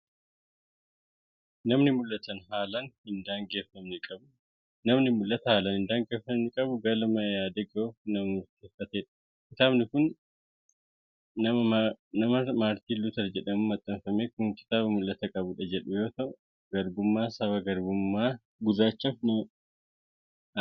Namni mul'ata haalaan hin daangeffamne qabu galma yaade gahuuf nama murteeffatedha. Kitaabni nama Maartin Luuter jedhamuun maxxanfame kun kitaaba " Mul'atan qaba" jedhu yoo ta'u, garbummaa saba gurraachaaf nama dhaabatedha.